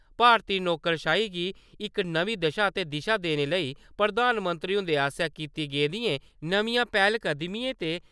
भारती नौकरशाही गी इक नमीं दशा ते दिशा देने लेई प्रधानमंत्री हुंदे आसेआ कीती गेदियें नमियां पैह्लकदमिएं ते